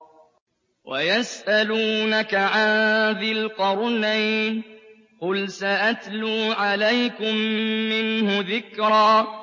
وَيَسْأَلُونَكَ عَن ذِي الْقَرْنَيْنِ ۖ قُلْ سَأَتْلُو عَلَيْكُم مِّنْهُ ذِكْرًا